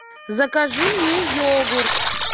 закажи мне йогурт